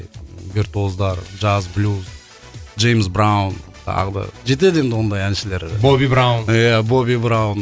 вертуоздар джаз блюз джеймс браун тағы да жетеді енді ондай әншілер боби браун ия боби браун